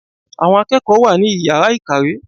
Àwọn akẹ́kọ̀ọ́ wa ní Ìyàrá ìkàwé.